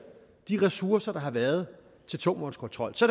de ressourcer der har været til tungvognskontrol så